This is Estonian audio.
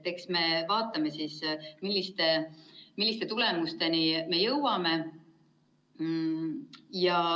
Eks me vaatame, millistele tulemustele me jõuame.